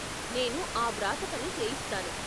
నేను ఆ వ్రాతపని చేయిస్తాను.